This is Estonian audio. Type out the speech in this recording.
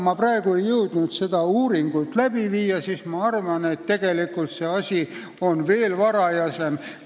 Ma ei jõudnud praegu uurida, aga ma arvan, et tegelikult on see asi veel varajasem.